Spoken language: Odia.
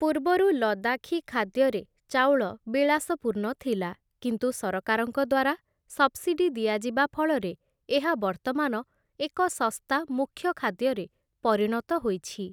ପୂର୍ବରୁ ଲଦାଖୀ ଖାଦ୍ୟରେ ଚାଉଳ ବିଳାସପୂର୍ଣ୍ଣ ଥିଲା, କିନ୍ତୁ ସରକାରଙ୍କ ଦ୍ୱାରା ସବ୍‌ସିଡି ଦିଆଯିବା ଫଳରେ ଏହା ବର୍ତ୍ତମାନ ଏକ ଶସ୍ତା ମୁଖ୍ୟ ଖାଦ୍ୟରେ ପରିଣତ ହୋଇଛି ।